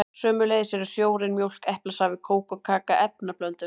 Sömuleiðis eru sjórinn, mjólk, eplasafi, kók og kaka efnablöndur.